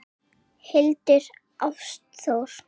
Hildur Ástþór.